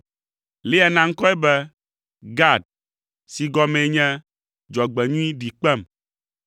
Lea na ŋkɔe be Gad si gɔmee nye “Dzɔgbenyui ɖi kpem!”